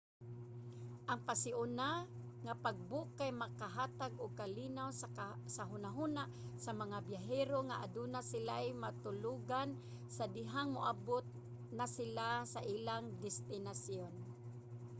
ang pasiuna nga pag-book kay makahatag og kalinaw sa hunahuna sa mga biyahero nga adunay sila matulogan sa dihang moabot na sila sa ilang destinasyon